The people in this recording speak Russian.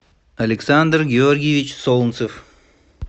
александр георгиевич солнцев